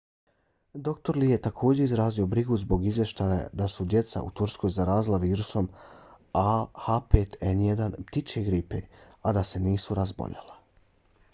dr. lee je također izrazio brigu zbog izvještaja da su se djeca u turskoj zarazila virusom a h5n1 ptičije gripe a da se nisu razboljela